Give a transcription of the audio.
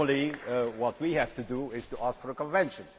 Normally, what we have to do is to ask for a convention.